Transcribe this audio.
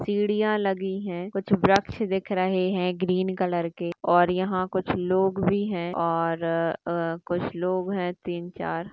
सीढ़िया लगी है कुछ वृक्ष दिख रहे है ग्रीन कलर के और यहा हा कुछ लोग भी है और अ कुछ लोग है तीन चार --